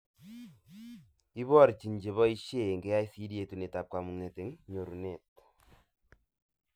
Ibrochin cheboishee eng KICD yetunetab kamuget eng nyorunet